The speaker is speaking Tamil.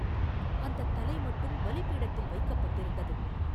அந்தத் தலை மட்டும் பலி பீடத்தில் வைக்கப்பட்டிருந்தது!